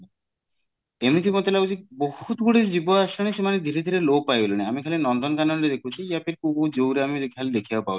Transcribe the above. ଏମିତି ମତେ ଲାଗୁଛି ବହୁତ ଗୁଡେ ଜୀବ ଆସୁଛନ୍ତି ସେମାନେ ଧୀରେ ଧୀରେ ଲୋପ ପାଇଗଲେଣି ଆମେ ଖାଲି ନନ୍ଦନକାନନ ରେ ଦେଖୁଛେ କୋପଉ କୋଉ zoo ରେ ଆମେ ଦେଖିବାକୁ ପାଉଛେ